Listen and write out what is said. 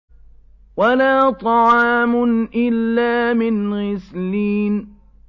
وَلَا طَعَامٌ إِلَّا مِنْ غِسْلِينٍ